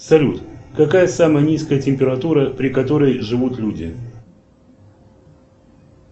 салют какая самая низкая температура при которой живут люди